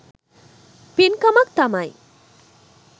පින්කමක් තමයි.